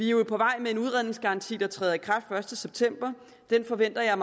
jo på vej med en udredningsgaranti der træder i kraft den første september den forventer jeg